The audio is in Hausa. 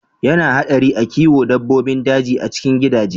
Ya na haɗari a kiwo dabbobin daji a cikin gidaje.